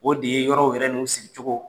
O de ye yɔrɔ yɛrɛ n'u sigicogo